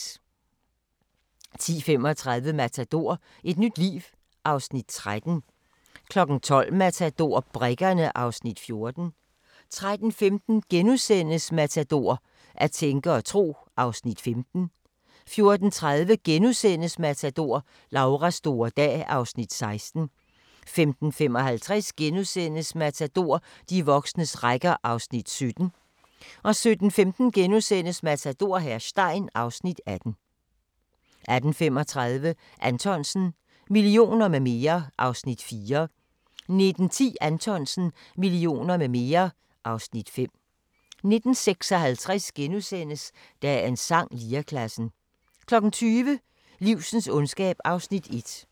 10:35: Matador - et nyt liv (Afs. 13) 12:00: Matador - Brikkerne (Afs. 14) 13:15: Matador - at tænke og tro (Afs. 15)* 14:30: Matador - Lauras store dag (Afs. 16)* 15:55: Matador - de voksnes rækker (Afs. 17)* 17:15: Matador - hr. Stein (Afs. 18)* 18:35: Anthonsen - Millioner med mere (Afs. 4) 19:10: Anthonsen - Millioner med mere (Afs. 5) 19:56: Dagens sang: Lirekassen * 20:00: Livsens ondskab (1:5)